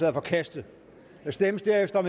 er forkastet der stemmes derefter om